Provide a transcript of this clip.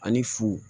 Ani fu